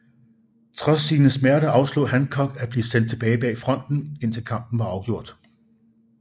Trods sine smerter afslog Hancock at blive sendt tilbage bag fronten indtil kampen var afgjort